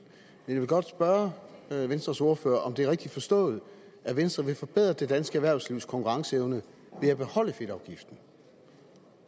men jeg vil godt spørge venstres ordfører om det er rigtigt forstået at venstre vil forbedre det danske erhvervslivs konkurrenceevne ved at beholde fedtafgiften